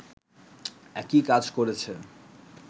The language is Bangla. একই কাজ করেছে